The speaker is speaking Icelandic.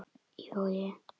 Í Vogi.